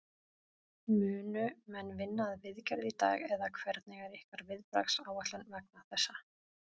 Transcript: Munu menn vinna að viðgerð í dag eða hvernig er ykkar viðbragðsáætlun vegna þessa?